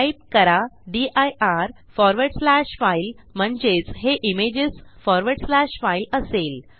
type करा dir forward slash file म्हणजेच हे इमेजेस फॉरवर्ड स्लॅश फाइल असेल